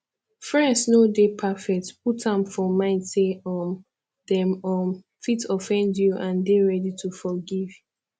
friends no dey perfect put am for mind sey um dem um fit offend you and dey ready to forgive